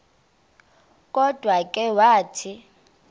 kodwa ke wathi